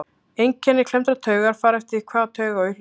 einkenni klemmdrar taugar fara eftir því hvaða taug á í hlut